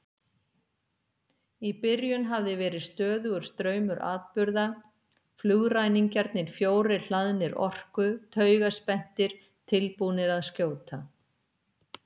Í byrjun hafði verið stöðugur straumur atburða, flugræningjarnir fjórir hlaðnir orku, taugaspenntir, tilbúnir að skjóta.